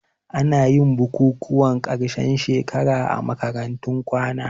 Anayin bukukuwan ƙarshen shekara a makarantun kwana